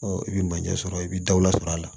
i bɛ manje sɔrɔ i bɛ daw la sɔrɔ a la